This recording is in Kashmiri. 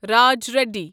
راج ریڈی